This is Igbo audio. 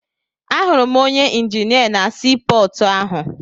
Ahụrụ m onye injinia na sii pọọtụ ahụ.